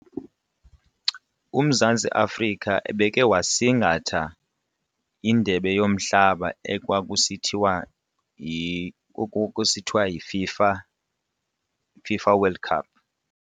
UMzantsi Afrika ebeke wasingatha indebe yomhlaba ekwakusithiwa kusithiwa yiFIFA FIFA World Cup.